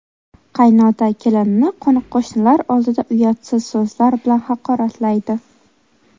Qaynota kelinini qo‘ni-qo‘shnilar oldida uyatsiz so‘zlar bilan haqoratlaydi.